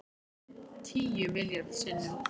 Tíu milljarð sinnum